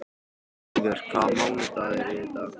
Ævör, hvaða mánaðardagur er í dag?